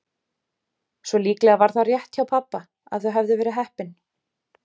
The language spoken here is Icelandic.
Svo líklega var það rétt hjá pabba að þau hefðu verið heppin.